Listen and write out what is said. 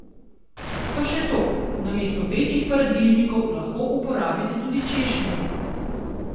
Pa še to, namesto večjih paradižnikov lahko uporabite tudi češnjeve.